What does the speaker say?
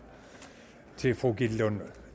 til fru gitte